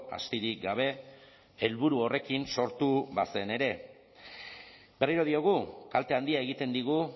astirik gabe helburu horrekin sortu bazen ere berriro diogu kalte handia egiten digu